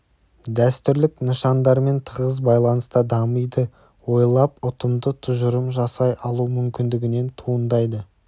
дәстүрлік нышандармен тығыз байланыста дамиды ойлап ұтымды тұжырым жасай алу мүмкіндігінен туындайды